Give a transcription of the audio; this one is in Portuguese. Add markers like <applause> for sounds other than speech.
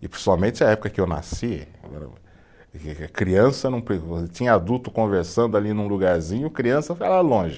e principalmente a época que eu nasci, <unintelligible> criança não, <unintelligible> tinha adulto conversando ali num lugarzinho, criança ficava longe.